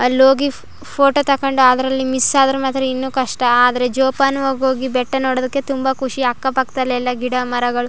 ಅಲ್ ಹೋಗಿ ಫ್ ಫೋಟೋ ತಕೊಂಡು ಅದರಲ್ಲಿ ಮಿಸ್ ಆದ್ರೆ ಮಾತ್ರ ಇನ್ನೂ ಕಷ್ಟ ಆದರೆ ಜೋಪಾನವಾಗಿ ಹೋಗಿ ಬೆಟ್ಟ ನೋಡೋದಕ್ಕೆ ತುಂಬಾ ಖುಷಿ ಅಕ್ಕ ಪಕ್ದಲೆಲ್ಲ ಗಿಡಮರಗಳು.